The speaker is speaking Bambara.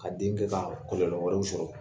Ka den kɛ ka kɔlɔlɔ wɛrɛw sɔrɔ.